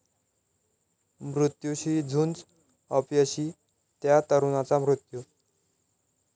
मृत्यूशी झुंज अपयशी, 'त्या' तरुणाचा मृत्यू